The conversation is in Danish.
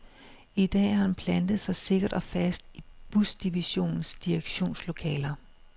I dag har han plantet sig sikkert og fast i busdivisionens direktionslokaler.